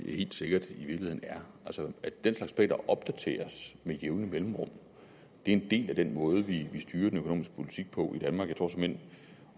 helt sikkert i virkeligheden er altså at den slags planer opdateres med jævne mellemrum er en del af den måde vi styrer den økonomiske politik på i danmark jeg tror såmænd